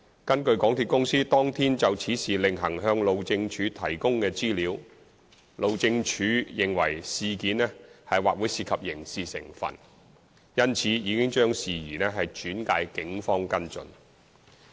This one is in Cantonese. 根據港鐵公司當天就此事另行向路政署提供的資料，路政署認為事情或會涉及刑事成分，因此已將事宜轉介警方跟進。